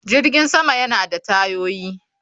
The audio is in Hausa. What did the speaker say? Jirgin sama yana da tayoyi